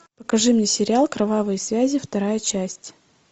покажи мне сериал кровавые связи вторая часть